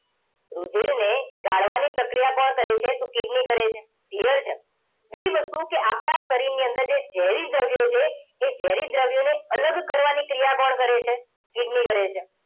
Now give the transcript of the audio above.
રુધિરને ગાળવાની પ્રક્રિયા કોણ કરે છે તો કિડની કરે છે clear છે બીજી વસ્તુ કે આપણા શરીરની અંદર જે ઝેરી દ્રવ્યો છે એ ઝેરી દ્રવ્યોને અલગ કરવાની ક્રિયા કોણ કરે છે કિડની કરે છે